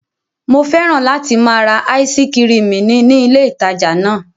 Mo fẹ́ràn láti máa ra áísí kirìmì ní ní ilé ìtajà náà.